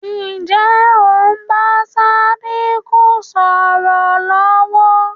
Ǹjẹ́ o ń bá Sádíkù sọ̀rọ̀ lọ̀wọ̀?